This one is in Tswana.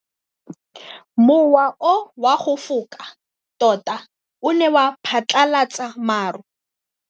Mowa o wa go foka tota o ne wa phatlalatsa maru.